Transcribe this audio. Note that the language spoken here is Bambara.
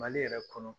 Mali yɛrɛ kɔnɔ